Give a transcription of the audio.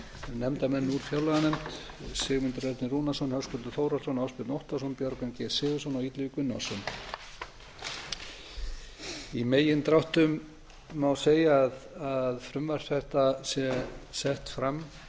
nefndarmenn úr fjárlaganefnd sigmundur ernir rúnarsson höskuldur þórhallsson ásbjörn óttarsson björgvin g sigurðsson og illugi gunnarsson í megindráttum má segja að frumvarp þetta sé sett fram